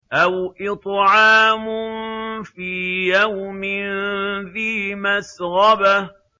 أَوْ إِطْعَامٌ فِي يَوْمٍ ذِي مَسْغَبَةٍ